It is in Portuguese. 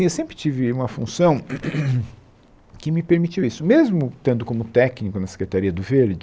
Eu sempre tive uma função que me permitiu isso, mesmo estando como técnico na Secretaria do Verde.